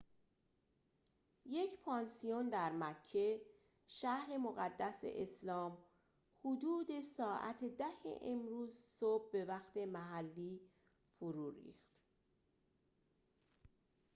یک پانسیون در مکه شهر مقدس اسلام حدود ساعت ۱۰ امروز صبح به وقت محلی فرو ریخت